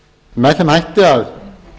með þeim hætti að